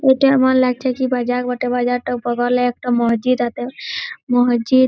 এটা আমার লাগছে কি বাজার বটে। বাজার টা পবলে একটা মসজিদ আটে । মসজিদ --